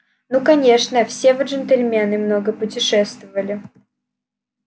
ну конечно все вы джентльмены много путешествовали